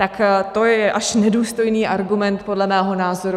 Tak to je až nedůstojný argument podle mého názoru.